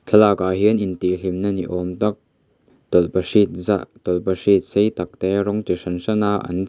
thlalakah hian intihhlimna ni awm tak tawlhpahrit zah tawlhpahrit sei tak te rawng chu hran hrana an che--